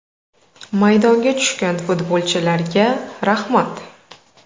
Maydonga tushgan futbolchilarga rahmat.